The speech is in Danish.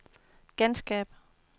genskab